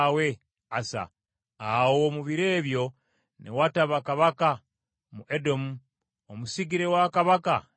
Awo mu biro ebyo ne wataba kabaka mu Edomu, omusigire wa kabaka n’afuga.